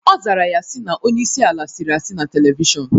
Ọ zara ya si na onyeisi ala sịrị asị na televishọnu